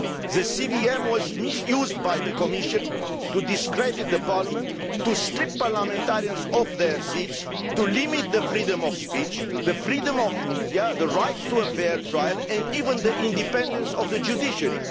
The CVM was misused by the Commission to discredit the parliament, to strip parliamentarians of their seats, to limit the freedom of speech, the freedom of the media, the right to a fair trial and even the independence of the judiciary.